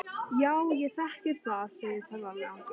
Já, ég þekki það, segir ferðalangur.